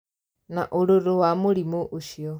Na ũrũrũ wa mũrimũ ũcio